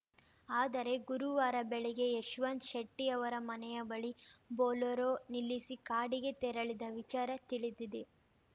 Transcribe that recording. ಆದರೆ ಗುರುವಾರ ಬೆಳಿಗ್ಗೆ ಯಶವಂತ್ ಶೆಟ್ಟಿಅವರ ಮನೆಯ ಬಳಿ ಬೊಲೊರೋ ನಿಲ್ಲಿಸಿ ಕಾಡಿಗೆ ತೆರಳಿದ್ದ ವಿಚಾರ ತಿಳಿದಿದೆ